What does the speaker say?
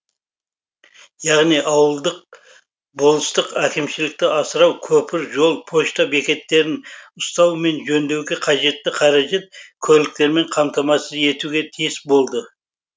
яғни ауылдық болыстық әкімшілікті асырау көпір жол пошта бекеттерін ұстау мен жөндеуге қажетті қаражат көліктермен қамтамасыз етуге тиіс болды